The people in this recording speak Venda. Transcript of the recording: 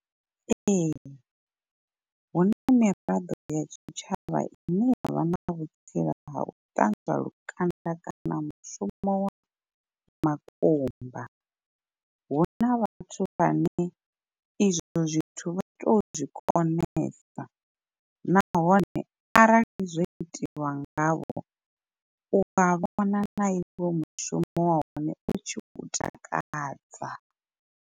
Ee huna miraḓo ya tshitshavha ine yavha na vhutsila ha u ṱanzwa lukanda kana mushumo wa makumba. Huna vhathu vhane izwo zwithu vha to zwi konesa nahone arali zwo itiwa ngavho uwa vhona na iwe mushumo wa hone u tshi u takadza.